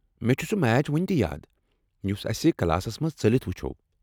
مےٚ چُھ سُہ میچ وُنۍ تہِ یاد یُس اَسہ کلاس منٛزٕ ژٔلتھ وُچھوو۔